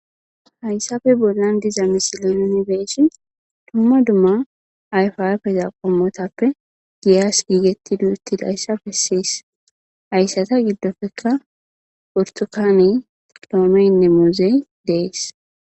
Haysape bolan diza misile nuni be'shin,duma duma ayfa ayfeta qomotappe giyas gigetidi utidaysa beses haysata gidofeka ,burtukaney,loomeynne muuzey dees.